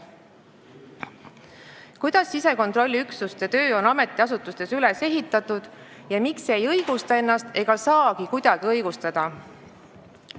Kuidas sisekontrolliüksuste töö on ametiasutustes üles ehitatud ja miks see ei õigusta ennast ega saagi kuidagi õigustada?